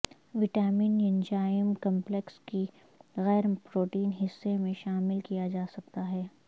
vitamin enzyme complex کی غیر protein حصے میں شامل کیا جاسکتا ہے